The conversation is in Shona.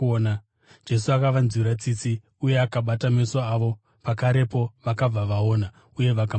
Jesu akavanzwira tsitsi uye akabata meso avo. Pakarepo vakabva vaona uye vakamutevera.